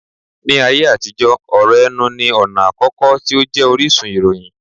Ní ayé àtijó, ọ̀rọ̀ ẹnu ní ọ̀nà àkọ́kọ́ tí ó jẹ́ orísun ìròyìn